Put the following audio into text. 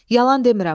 Yalan demirəm.